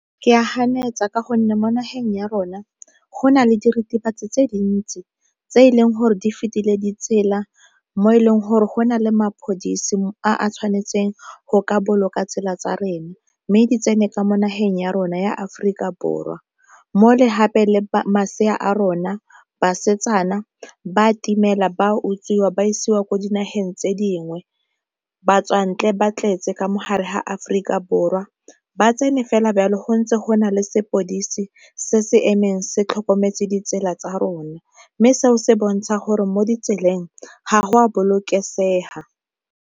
Ke a ganetsa ka gonne mo nageng ya rona go na le diritibatsi tse dintsi tse e leng gore di fetile ditsela mo e leng gore go na le mapodisi a tshwanetseng go ka boloka tsela tsa rena, mme di tsene ka mo nageng ya rona ya Aforika Borwa mo le hape masea a rona, basetsana ba itimela, ba utswiwa, ba isiwa ko dinageng tse dingwe. Batswantle ba tletse ka mogare ga Aforika Borwa ba tsene fela bjalo go ntse go na le sepodisi se se emeng se tlhokometse ditsela tsa rona, mme seo se bontsha gore mo ditseleng ga go a bolokesega.